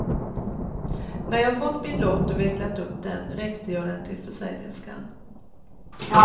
När jag fått min lott och vecklat upp den räckte jag den till försäljerskan.